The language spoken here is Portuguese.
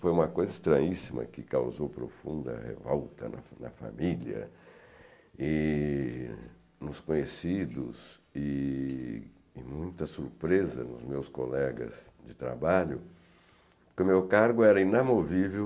Foi uma coisa estranhíssima, que causou profunda revolta na na família, nos conhecidos e muita surpresa nos meus colegas de trabalho, porque o meu cargo era inamovível